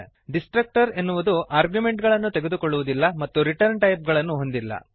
destructor ಎನ್ನುವುದು ಆರ್ಗ್ಯುಮೆಂಟುಗಳನ್ನು ತೆಗೆದುಕೊಳ್ಳುವದಿಲ್ಲ ಮತ್ತು ರಿಟರ್ನ್ ಟೈಪ್ ಗಳನ್ನು ಹೊಂದಿಲ್ಲ